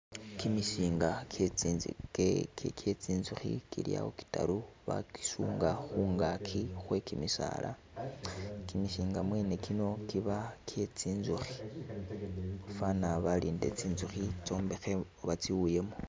Kimisinga kye tsi nzukhi kili awo kitaru bakisunga khungaki khwe kimisala, kimisinga kyene kino kiba kye tsinzukhi , fana balindile tsi nzukhi tsombekhe oba tsi wuyemo.